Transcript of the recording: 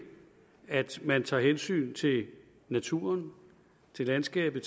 at man tager hensyn til naturen landskabet